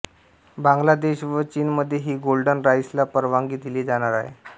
बांगलादेश व चीनमध्येही गोल्डन राईसला परवानगी दिली जाणार आहे